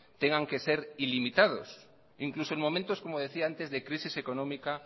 tengan que ser ilimitados incluso en momentos como decía antes de crisis económica